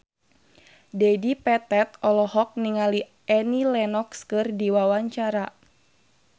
Dedi Petet olohok ningali Annie Lenox keur diwawancara